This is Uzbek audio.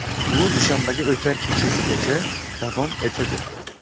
U dushanbaga o‘tar kechasigacha davom etadi.